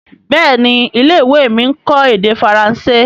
Béèni ilé-ìwé mí nkọ èdè Faransé.